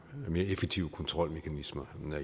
mere effektive kontrolmekanismer